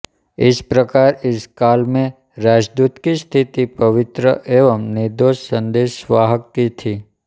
इस प्रकार इस काल में राजदूत की स्थिति पवित्र एवं निर्दोष संदेशवाहक की थी